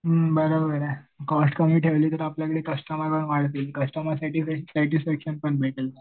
हम्म बरोबर आहे कॉस्ट कमी ठेवली तर आपल्याकडे कस्टमर पण वाढतील. कस्टमर सॅटिसफॅक्शन पण भेटेल.